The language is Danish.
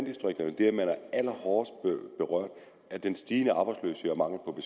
allerhårdest berørt af den stigende arbejdsløshed og